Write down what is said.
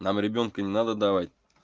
нам ребёнка не надо давать